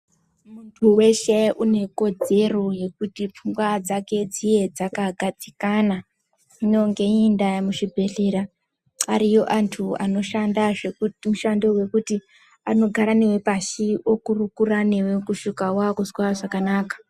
Muntu weshe une kodzero yekuti pfungwa dzake dziye dzakagadzikana hino neiyi ndaa ariyo anoshanda zvekuti anogara newe pashi vokurukura newe kusvika wakunzwa zvakanaka.